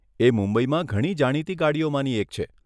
એ મુંબઈમાં ઘણી જાણીતી ગાડીઓમાંની એક છે.